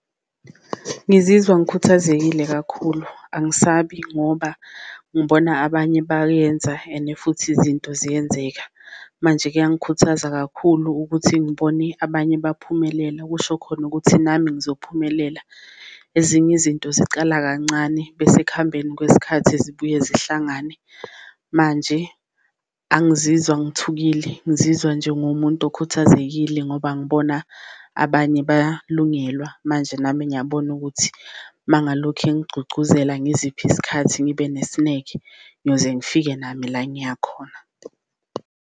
Ngizizwa ngikhuthazekile kakhulu angisabi ngoba ngibona abanye bayenza and futhi izinto ziyenzeka, manje kuyangikhuthaza kakhulu ukuthi ngibone abanye baphumelela okusho khona ukuthi nami ngizophumelela. Ezinye izinto zicala kancane bese ekuhambeni kwesikhathi zibuye zihlangane, manje angizizwa ngithukile ngizizwa njengomuntu okhuthazekile ngoba khona abanye balungelwa. Manje nami ngiyabona ukuthi uma ngalokhe ngigcugcuzelela ngizipha isikhathi, ngibe nesineke, ngiyoze ngifike nami la engiyakhona.